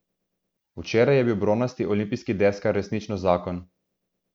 Včeraj je bil bronasti olimpijski deskar resnično zakon.